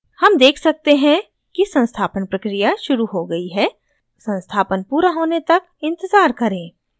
हम देख सकते हैं कि संस्थापन प्रक्रिया शुरू हो गयी है संस्थापन पूरा होने तक इंतज़ार करें